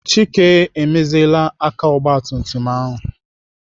Chike emeziela aka ogbatumtum ahụ.